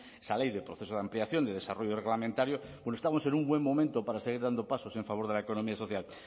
esa ley del proceso de ampliación de desarrollo reglamentario bueno estamos en un buen momento para seguir dando pasos en favor de la economía social